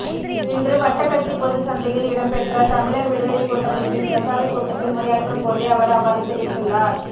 இன்று வட்டக்கச்சி பொதுச் சந்தையில் இடம்பெற்ற தமிழர் விடுதலைக் கூட்டமைப்பின் பிரச்சாரக் கூட்டத்தில் உரையாற்றும் போதே அவர் அவ்வாறு தெரிவித்துள்ளார்